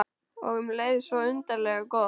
Og um leið svo undarlega gott.